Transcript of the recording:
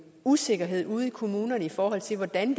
usikkerhed ude i kommunerne i forhold til hvordan